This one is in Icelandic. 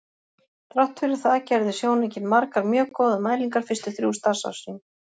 Þrátt fyrir það gerði sjónaukinn margar mjög góðar mælingar fyrstu þrjú starfsár sín.